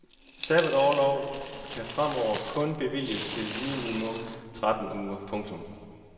Sabbatorlover kan fremover kun bevilges til minimum tretten uger. punktum